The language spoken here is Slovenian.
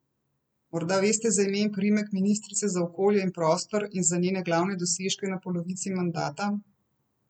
Morda veste za ime in priimek ministrice za okolje in prostor in za njene glavne dosežke na polovici mandata?